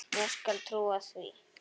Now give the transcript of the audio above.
Ég skal trúa því.